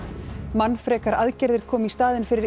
mannfrekar aðgerðir koma í staðinn fyrir